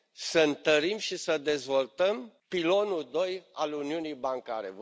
să întărim și să dezvoltăm pilonul doi al uniunii bancare.